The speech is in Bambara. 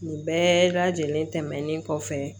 Nin bɛɛ lajɛlen tɛmɛnen kɔfɛ